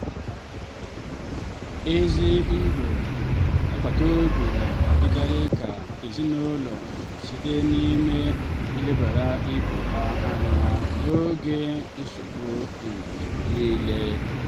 ezi ndị um agbata obi na-adịkarị ka ezinụlọ um site n'ina-elebara ibe ha anya n'oge nsogbu mgbe um niile.